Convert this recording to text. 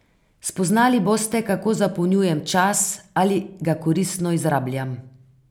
Spoznali boste, kako zapolnjujem čas, ali ga koristno izrabljam.